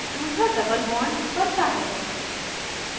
दूसरा double bond बनता है